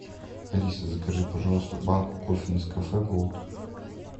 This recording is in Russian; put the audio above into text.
алиса закажи пожалуйста банку кофе нескафе голд